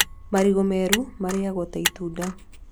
Marigũ meru marĩagwo ta itunda